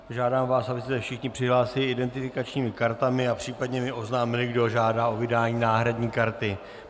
Žádám vás, abyste se všichni přihlásili identifikačními kartami a případně mi oznámili, kdo žádá o vydání náhradní karty.